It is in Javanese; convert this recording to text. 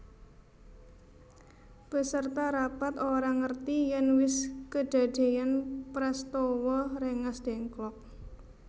Peserta rapat ora ngerti yèn wis kedadéyan prastawa Rengasdengklok